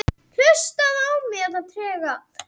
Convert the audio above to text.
Harpa